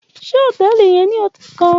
Ṣe hotẹẹli yẹn ni ọti kan?